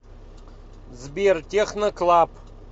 сбер техно клаб